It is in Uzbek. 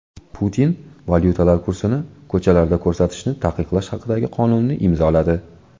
Putin valyutalar kursini ko‘chalarda ko‘rsatishni taqiqlash haqidagi qonunni imzoladi.